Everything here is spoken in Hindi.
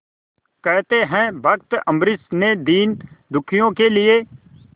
कहते हैं भक्त अम्बरीश ने दीनदुखियों के लिए